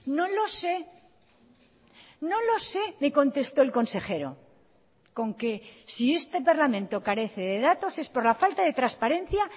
no lo sé no lo sé me contestó el consejero con que si este parlamento carece de datos es por la falta de transparencia